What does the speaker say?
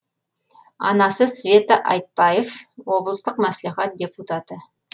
анасы света айтбаев облыстық мәслихат депутаты